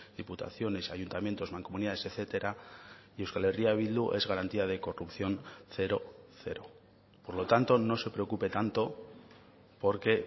diputaciones ayuntamientos mancomunidades etcétera y euskal herria bildu es garantía de corrupción cero cero por lo tanto no se preocupe tanto porque